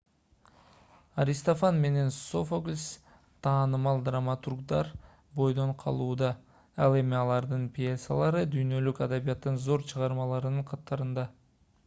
аристофан менен софоклс таанымал драматургдар бойдон калууда ал эми алардын пьесалары дүйнөлүк адабияттын зор чыгармаларынын катарында